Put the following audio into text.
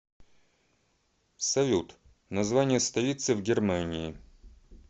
салют название столицы в германии